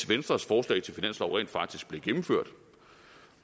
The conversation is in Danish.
venstres forslag til finanslov rent faktisk blev gennemført